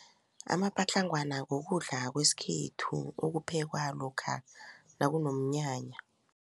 Amapatlagwana kukudla kwesikhethu okuphekwa lokha nakunomnyanya.